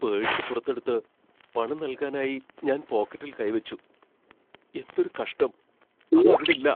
Purse പുറത്തെടുത്ത് പണം നൽകാനായി ഞാൻ പോക്കറ്റിൽ കൈ വച്ചു. എന്തൊരു കഷ്ടം, അതവിടില്ല.